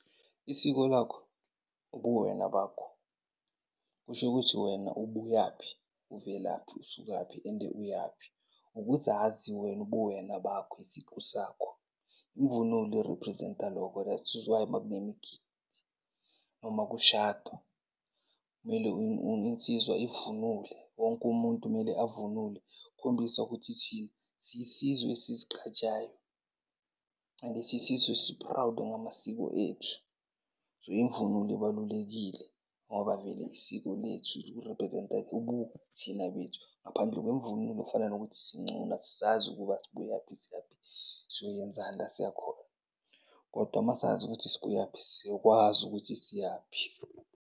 Isiko lakho, ubuwena bakho. Kusho ukuthi wena ubuyaphi, uvelaphi, usukaphi and uyaphi. Ukuzazi wena ubuwena bakho, isiqu sakho, imvunulo i-represent-a loko. That is why makunemgidi noma kushadwa kumele insizwa ivunule, wonke umuntu mele avunule. Ukukhombisa ukuthi siyisizwe esizigqajayo and siyisizwe esi-proud ngamasiko ethu. So, imvunulo ibalulekile ngoba vele isiko lethu li-represent-a ubuthina bethu. Ngaphandle kwemvunulo kufana nokuthi sincunu, asizazi ukuba sibuyaphi, siyaphi, siyoyenzani la siyakhona. Kodwa masazi ukuthi sibuyaphi, siyokwazi ukuthi siyaphi.